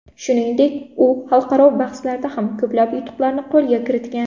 Shuningdek, u xalqaro bahslarda ham ko‘plab yutuqlarni qo‘lga kiritgan.